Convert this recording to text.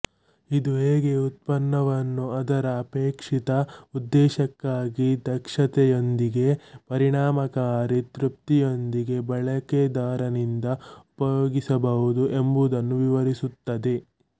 ಇದು ಹೇಗೆ ಉತ್ಪನ್ನವನ್ನು ಅದರ ಅಪೇಕ್ಷಿತ ಉದ್ದೇಶಕ್ಕಾಗಿ ದಕ್ಷತೆಯೊಂದಿಗೆ ಪರಿಣಾಮಕಾರಿ ತೃಪ್ತಿಯೊಂದಿಗೆ ಬಳಕೆದಾರನಿಂದ ಉಪಯೋಗಿಸಬಹುದು ಎಂಬುದನ್ನು ವಿವರಿಸುತ್ತದೆ